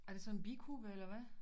Er de nsådan en bikube eller hvad